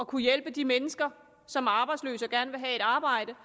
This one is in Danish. kunne hjælpe de mennesker som er arbejdsløse og gerne vil have et arbejde